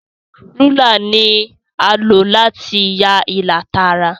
Rúlà ní a lo láti yá ìlà Tààrà.